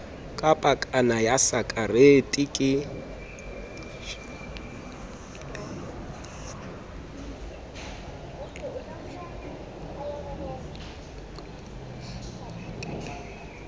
ka pakana ya sakarete le